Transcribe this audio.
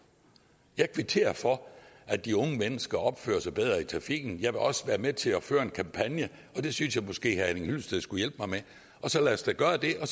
jeg kvitterer for at de unge mennesker opfører sig bedre i trafikken jeg vil også være med til at føre en kampagne og det synes jeg måske herre henning hyllested skulle hjælpe mig med så lad os da gøre det